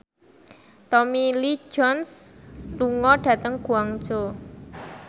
Tommy Lee Jones lunga dhateng Guangzhou